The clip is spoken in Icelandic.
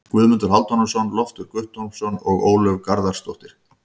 Guðmundur Hálfdanarson, Loftur Guttormsson og Ólöf Garðarsdóttir.